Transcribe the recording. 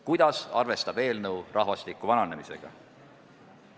Kuidas arvestab eelnõu rahvastiku vananemisega?